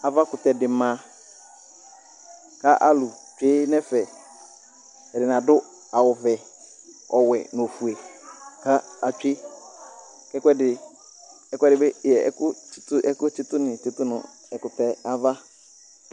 ava kutɛ di ma k'alo tsue n'ɛfɛ ɛdini ado awu vɛ ɔwɛ n'ofue k'atsue ɛkoɛdi ɛkoɛdi bi ɛkò tsito ni tsito n'ɛkutɛ ava